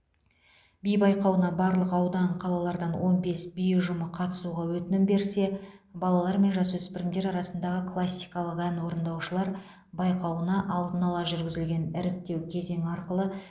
би байқауына барлық аудан қалалардан он бес би ұжымы қатысуға өтінім берсе балалар мен жасөспірімдер арасындағы классикалық ән орындаушылар байқауына алдын ала жүргізілген іріктеу кезеңі арқылы